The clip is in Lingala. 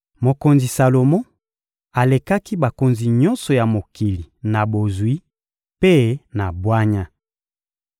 Mokonzi Salomo alekaki bakonzi nyonso ya mokili na bozwi mpe na bwanya.